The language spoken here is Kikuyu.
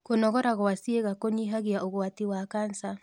Kũnogora gwa ciĩga kũnyĩhagĩa ũgwatĩ wa cancer